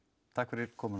takk fyrir komuna